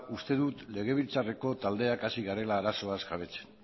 uste dut legebiltzarreko taldeak hasi garela arazoaz jabetzen